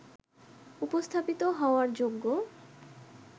উপস্থাপিত হওয়ার যোগ্য